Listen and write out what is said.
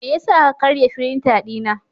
Me yasa ka karya firinta dina?